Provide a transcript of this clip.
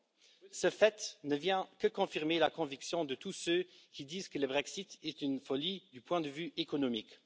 ans. Ce fait ne vient que confirmer la conviction de tous ceux qui disent que le Brexit est une folie du point de vue économique.